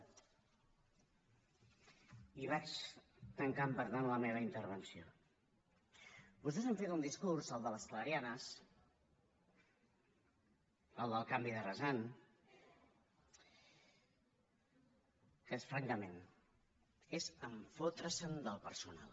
i vaig tancant per tant la meva intervenció vostès han fet un discurs el de les clarianes el del canvi de rasant que és francament fotre’s del personal